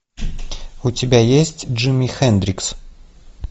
у тебя есть джими хендрикс